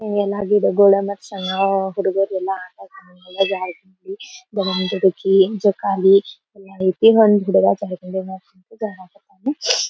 ಇಲ್ಲಿ ಏನಾಗಿದೆ ಹುಡುಗರೆಲ್ಲಾ ಏನ್ ಜೋಕಾಲಿ ಎಲ್ಲಾ ಐತಿ. ಒಂದ್ ಒಂದ್ ಹುಡ್ಗ ಜಾರುಬಂಡಿ ಮೈಲಕುಂತ್ ಜಾರಕಾತನ --